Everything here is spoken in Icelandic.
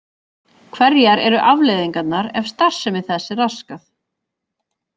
Hverjar eru afleiðingarnar ef starfsemi þess er raskað?